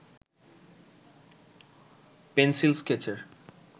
pencil স্কেচের